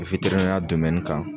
kan.